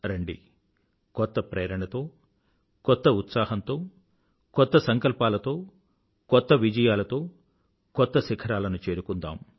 రండి కొత్త ప్రేరణతో కొత్త ఉత్సాహంతో కొత్త సంకల్పాలతో కొత్త విజయాలతో కొత్త శిఖరాలను చేరుకుందాం